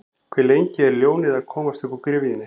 Hve lengi er ljónið að komast uppúr gryfjunni?